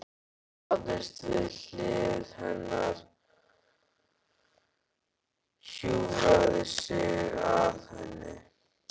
Hann lagðist við hlið hennar, hjúfraði sig að henni.